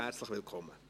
Herzlich willkommen.